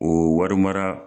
O wari mara